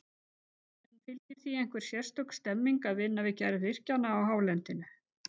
En fylgir því einhver sérstök stemning að vinna við gerð virkjana á hálendinu?